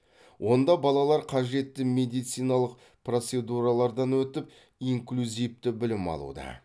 онда балалар қажетті медициналық процедуралардан өтіп инклюзивті білім алуда